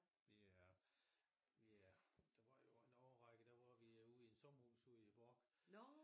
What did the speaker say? Vi er vi er der var jo en årrække der var vi jo ude i en sommerhus ude i Bork